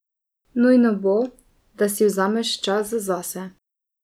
Nujno bo, da si vzameš čas zase.